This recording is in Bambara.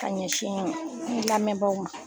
Ka ɲɛsin n lamɛnbagaw ma.